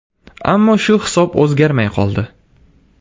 Ammo shu hisob o‘zgarmay qoldi.